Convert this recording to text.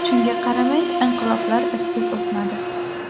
Shunga qaramay, inqiloblar izsiz o‘tmadi.